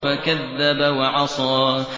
فَكَذَّبَ وَعَصَىٰ